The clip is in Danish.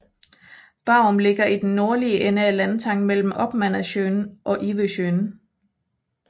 Barum ligger i den nordlige ende af landtangen mellem Oppmannasjön og Ivösjön